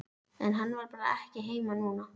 En hann var bara ekki heima núna.